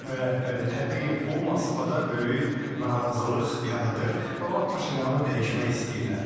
Və təbii bu Moskvada böyük narazılıq yaradır və onlar Paşinyanı dəyişmək istəyirlər.